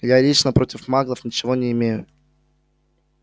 я лично против маглов ничего не имею